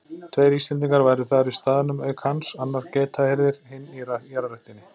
Tveir Íslendingar væru þar í staðnum auk hans, annar geitahirðir, hinn í jarðræktinni